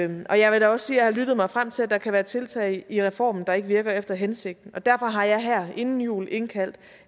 og og jeg vil da også sige at jeg har lyttet mig frem til at der kan være tiltag i reformen der ikke virker efter hensigten derfor har jeg her inden jul indkaldt